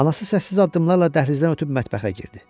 Anası səssiz addımlarla dəhlizdən ötüb mətbəxə girdi.